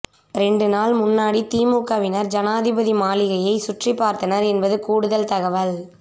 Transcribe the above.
ரெண்டு நாள் முன்னாடி திமுகவினர் ஜனாதிபதி மாளிகையை சுற்றிபார்த்தனர் என்பது கூடுதல் தகவல்